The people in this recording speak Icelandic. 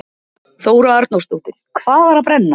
Þóra Arnórsdóttir: Hvað var að brenna?